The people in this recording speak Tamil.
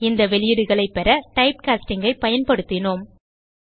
இந்த வெளியீடுகளைப் பெற type காஸ்டிங் ஐ பயன்படுத்தினோம்